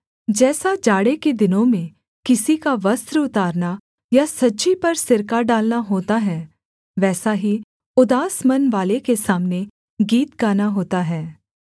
जैसा जाड़े के दिनों में किसी का वस्त्र उतारना या सज्जी पर सिरका डालना होता है वैसा ही उदास मनवाले के सामने गीत गाना होता है